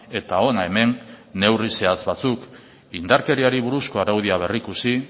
eta hona hemen neurri zehatz batzuk indarkeriari buruzko araudia berrikusi